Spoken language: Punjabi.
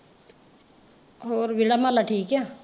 ਹੋਰ ਵੇਹੜਾ ਮਾਹਲਾ ਠੀਕ ਆ।